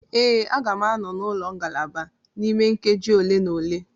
Ee, a ga m anọ na ngalaba m n'ime nkeji ole na ole.